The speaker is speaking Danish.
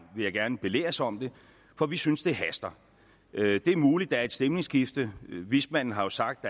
vil jeg gerne belæres om det for vi synes at det haster det er muligt er et stemningsskifte vismanden har jo sagt